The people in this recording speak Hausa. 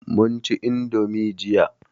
mun ci indomi jiya